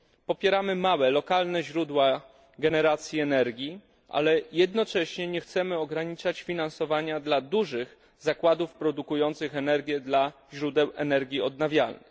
Popieramy małe, lokalne źródła generacji energii, ale jednocześnie nie chcemy ograniczać finansowania dla dużych zakładów produkujących energię dla źródeł energii odnawialnej.